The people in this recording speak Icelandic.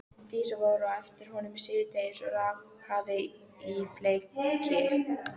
Það tel ég vægast sagt vafanum bundið.